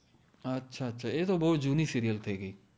અછા અછા એ તો બૌ જુની સિરિઅલ થઇ ગઇ